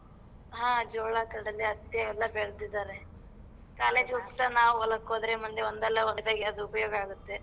ಹ ಜೋಳ ಕಡಲೆ ಹತ್ತಿ ಎಲ್ಲಾ ಬೆಳ್ದಿದಾರೆ. College ಇಗ್ ಹೋಗ್ತಾನ ಹೊಲಕ್ ಹೋದರೆ ಮುಂದೆ ಒಂದಲ್ಲ ಒಂದ್ ದಿಸ ಅದ್ ಉಪ್ಯೋಗ ಆಗತ್ತೆ.